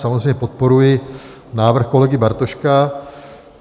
Samozřejmě podporuji návrh kolegy Bartoška.